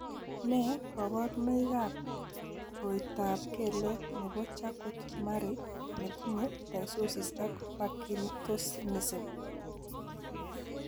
Nee kabarunoikab koroitoab kelek nebo Charcot Marie ne tinye ptosis ak parkinsonism?